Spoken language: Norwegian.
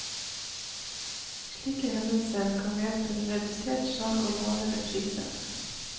Slike hendelser kan medføre redusert salg og lavere priser.